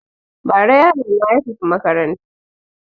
Ba ra yarona ya tafi makarantar